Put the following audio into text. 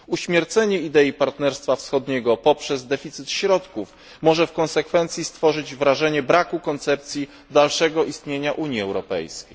Uśmiercenie idei Partnerstwa Wschodniego poprzez deficyt środków może w konsekwencji stworzyć wrażenie braku koncepcji dalszego istnienia Unii Europejskiej.